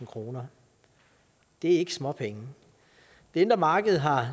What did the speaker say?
kroner det er ikke småpenge det indre marked har